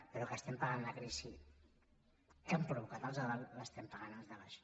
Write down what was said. però que estem pagant la crisi que han provocat els de dalt l’estem pagant els de baix